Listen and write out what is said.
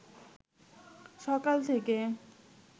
সকাল থেকে